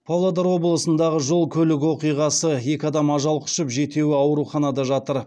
павлодар облысындағы жол көлік оқиғасы екі адам ажал құшып жетеуі ауруханада жатыр